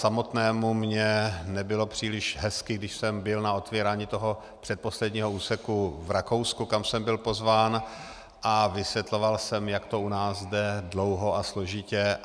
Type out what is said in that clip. Samotnému mně nebylo příliš hezky, když jsem byl na otevírání toho předposledního úseku v Rakousku, kam jsem byl pozván, a vysvětloval jsem, jak to u nás jde dlouho a složitě.